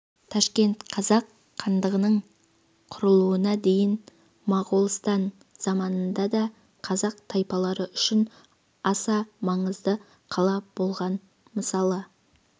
ташкент қазақ хандығының құрылуына дейін моғолстан заманында да қазақ тайпалары үшін аса маңызды қала болған мысалы